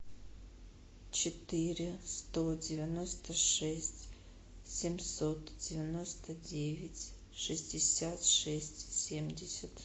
четыре сто девяносто шесть семьсот девяносто девять шестьдесят шесть семьдесят